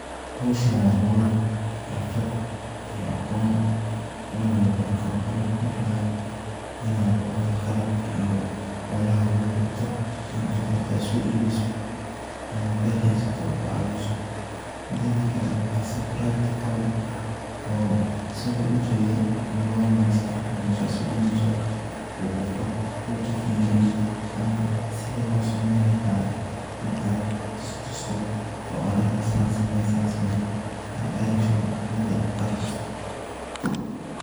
Howshan waa howl xirfad iyo aqoon oona labaran karo waxaan ku fari laha inaad oo horta qalabka iyo howlaha lagu qabto in aad horta aad so iibiso ama hada haysato ku caawiso mideeda kale aad si practical ah oo asago u jeeda labo malin sadex malin marka aad sameyneyso oo qof qof uu ku fiiriyo ama sida loo sameen laha in aad tustusto oo aa dahdo san same san same aa direction oo wada aad tusto.